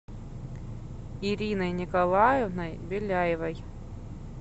ириной николаевной беляевой